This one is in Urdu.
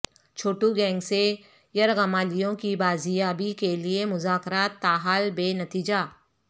چھوٹو گینگ سے یرغمالیوں کی بازیابی کے لیے مذاکرات تاحال بے نتیجہ